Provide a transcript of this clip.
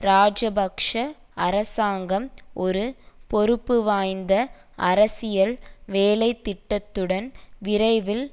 இராஜபக்ஷ அரசாங்கம் ஒரு பொறுப்புவாய்ந்த அரசியல் வேலைத்திட்டத்துடன் விரைவில்